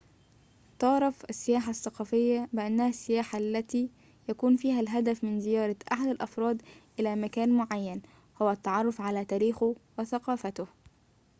تُعرف السياحة الثقافية بأنها السياحة التي يكون فيها الهدف من زيارة أحد الأفراد إلى مكان معين هو التعرف على تاريخه وثقافته